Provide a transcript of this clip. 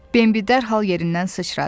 Bembi dərhal yerindən sıçradı.